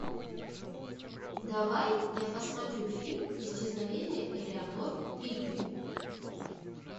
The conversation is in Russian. давай я посмотрю фильм исчезновение элеанор ригби